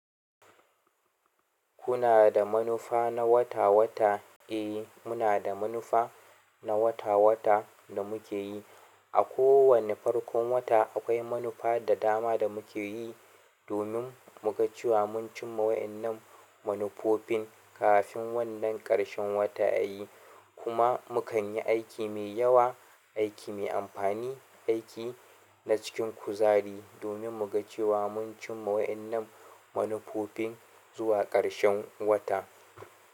Kuna da manufa na wata-wata, eh muna da manufa na wata-wata da muke yi. A kowane farkon wata akwai manufa da dama da muke yi domin muga cewa mun cimma waɗannan manufofin kafin wannan ƙarshen wata yayi kuma mu kan yi aiki mai yawa, aiki mai amfani, aiki na cikin kuzari domin muga cewa mun cimma waɗannan manufofin zuwa ƙarshen wata.